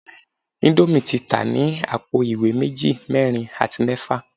Indomie ti ta ni apo iwe meji, merin ati mefa